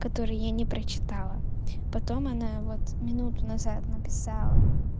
который я не прочитала потом она вот минуту назад написала